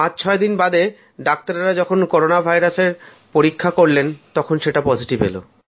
পাঁচছয় দিন বাদে ডাক্তারেরা যখন করোনা ভাইরাসের পরীক্ষা করলেন তখন সেটা পজিটিভ এল